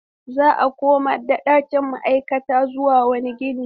Za a komar da ɗakin ma'aikata zuwa wani gini.